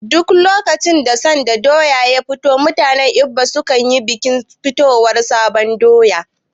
Duk lokacin da sabon doya ya fito mutanen Igbo su nayin bikin fitowar sabon doya